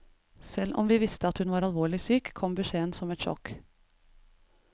Selv om vi visste at hun var alvorlig syk, kom beskjeden som et sjokk.